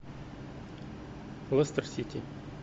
лестер сити